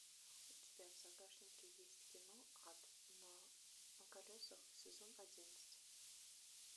у тебя в загашнике есть кино ад на колесах сезон одиннадцать